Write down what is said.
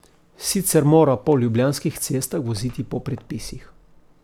Sicer mora po ljubljanskih cestah voziti po predpisih.